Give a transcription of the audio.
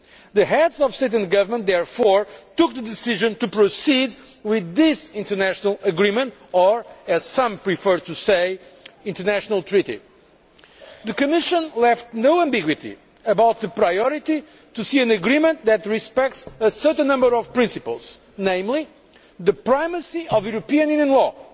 The Heads of State and Government therefore took the decision to proceed with this international agreement or, as some prefer to say, international treaty. The Commission left no ambiguity about the priority being an agreement that respects a certain number of principles, namely the primacy of European Union law,